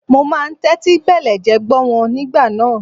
Mo máa ń tẹ́tí bẹ̀lẹ̀jẹ́ gbọ́ wọn nígbà náà.